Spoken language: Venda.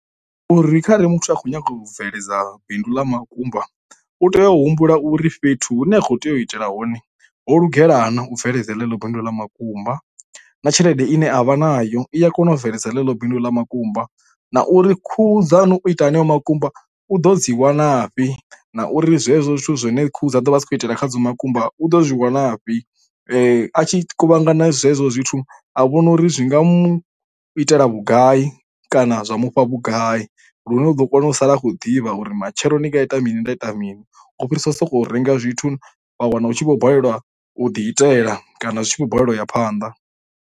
Uri khare muthu a khou nyanga u bveledza bindu ḽa makumba u tea u humbula uri fhethu hune a khou tea u itela hone ho lugela na u bveledza ḽeḽo bindu ḽa makumba, na tshelede ine avha nayo i a kona u bveledza ḽeḽo bindu ḽa makumba, na uri khuhu dzanu u ita heneyo makumba u ḓo dzi wanafhi, na uri zwezwo zwithu zwine khuhu dza ḓo vha si khou itela kha dzo makumba u ḓo zwi wanafhi. A tshi kuvhangana zwezwo zwithu a vhona uri zwi nga mu itela vhugai kana zwa mufha vhugai lune u ḓo kona u sala a khou ḓivha uri matshelo ndi nga ita mini nda ita mini, u fhirisa u sokou renga zwithu wa wana hu tshi vho balelwa u ḓi itela kana zwi tshi vho balelwa u ya phanḓa.